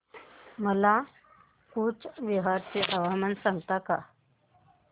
मला कूचबिहार चे हवामान सांगता का